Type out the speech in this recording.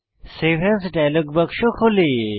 save as dialog বাক্স খোলে